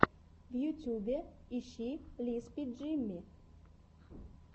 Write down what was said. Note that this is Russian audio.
в ютьюбе ищи лиспи джимми